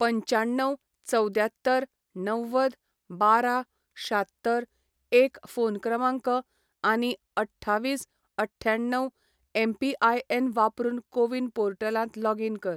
पंच्याण्णव चवद्द्यात्तर णव्वद बारा शात्तर एक फोन क्रमांक आनी अठ्ठावीस अठ्ठ्याण्णव एमपीआयएन वापरून कोविन पोर्टलांत लॉगीन कर